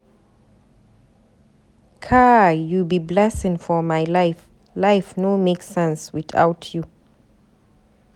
Kai, you be blessing for my life, life no make sense without you.